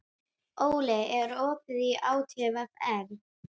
Óli, er opið í ÁTVR?